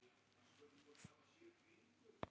Má hann ekki vera ástfanginn af Dóru í friði?